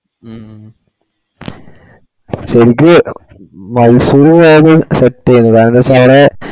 മ്മ് ശെരിക്ക് Mysore വേഗം set തായത് പൊന്നേ